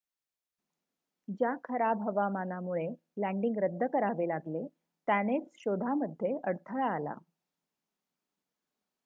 ज्या खराब हवामानामुळे लॅन्डिंग रद्द करावे लागले त्यानेच शोधामध्ये अडथळा आला